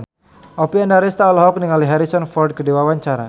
Oppie Andaresta olohok ningali Harrison Ford keur diwawancara